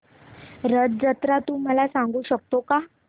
रथ जत्रा तू मला सांगू शकतो का